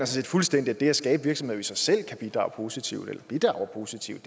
set fuldstændig at det at skabe virksomheder i sig selv kan bidrage positivt eller bidrager positivt